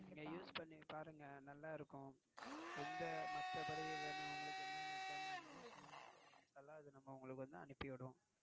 நீங்க Use பன்னி பாருங்க நல்லா இருக்கும். எந்த மத்தபடி உங்களுக்கு என் என்ன ஜமான் வேணுமோ சொல்லிவிடுங்க எதுனாலயும் உங்களுக்கு அனுப்பி விடுவோம்.